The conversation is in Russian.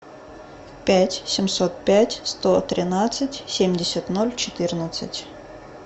пять семьсот пять сто тринадцать семьдесят ноль четырнадцать